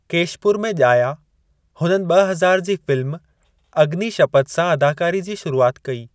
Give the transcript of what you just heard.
केशपुर में ॼाया, हुननि ॿ हज़ार जी फ़िल्म अग्नि शपथ सां अदाकारी जी शुरुआत कई।